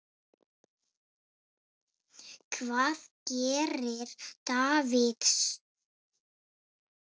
Hvað gerir Davids?